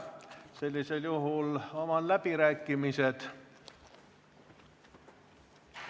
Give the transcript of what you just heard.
Sellisel juhul avan läbirääkimised.